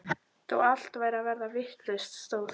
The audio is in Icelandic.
Þó allt væri að verða vitlaust stóð